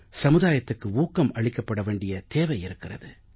சமுதாயத்துக்கு ஊக்கம் அளிக்கப்பட வேண்டிய தேவை இருக்கிறது